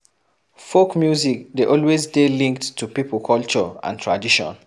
Folk music dey always dey linked to pipo culture and tradition